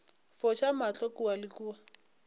foša mahlo kua le kua